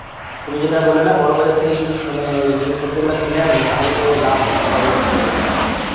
তুমি যেটা বললে না বড়বাজার থেকে যদি তু~ মানে ওই জিনিস পত্র গুলো কিনে ানী তাহলে তো লাভ হবে একটু তাইনা?